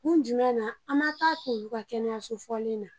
Kun jumɛn na an ma taa k'olu kɛnɛyayaso fɔlen na